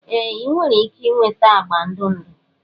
Ee! ị nwere ike ịnweta agba ndụ ndụ.